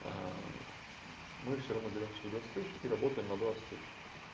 мы всё равно берём свои двадцать тысяч и работаем на двадцать тысяч